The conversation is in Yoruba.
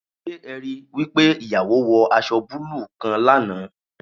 Se e ri wi pe iyawo wo aso buluu kan lana?